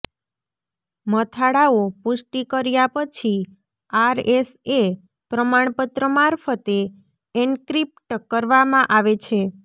મથાળાઓ પુષ્ટિ કર્યા પછી આરએસએ પ્રમાણપત્ર મારફતે એન્ક્રિપ્ટ કરવામાં આવે છે